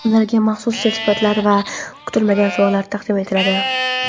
ularga ham maxsus sertifikatlar va kutilmagan sovg‘alar taqdim etiladi.